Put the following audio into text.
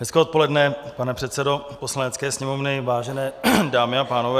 Hezké odpoledne, pane předsedo Poslanecké sněmovny, vážené dámy a pánové.